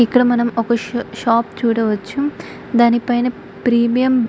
ఇక్కడ మనం ఒక షాప్ చూడవచ్చు దాని పైన ప్రీమియం --